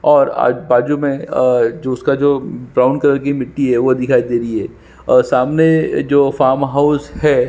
और आ बाजु में अ जूस का जो ब्राउन कलर की मिटटी है वो दिखाई दे रही है और सामने जो फार्महाउस है।